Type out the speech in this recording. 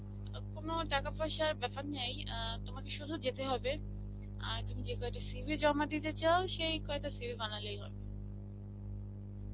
আর কোনও টাকা পয়সার বাপ্যার নাই, আ তোমাকে শুধু যেতে হবে. আর তুমি যে কয়টি CV জমা দিতে চাও সেই কয়টা CV বানালেই হবে.